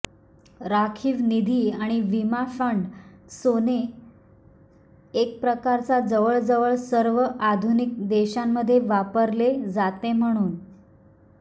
राखीव निधी आणि विमा फंड सोने एक प्रकारचा जवळजवळ सर्व आधुनिक देशांमध्ये वापरले जाते म्हणून